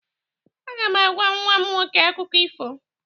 Aga m agwa nwa m nwoke akụkọ ifo.